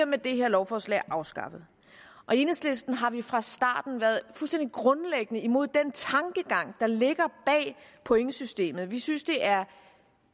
med det her lovforslag afskaffet i enhedslisten har vi fra starten af været fuldstændig grundlæggende imod den tankegang der ligger bag pointsystemet vi synes det er